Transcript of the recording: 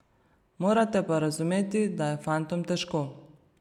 Morate pa razumeti, da je fantom težko.